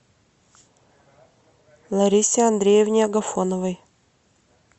ларисе андреевне агафоновой